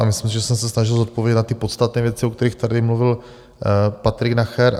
A myslím si, že jsem se snažil zodpovědět na ty podstatné věci, o kterých tady mluvil Patrik Nacher.